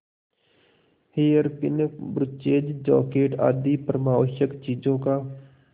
hairpin brooches jacket आदि परमावश्यक चीजों का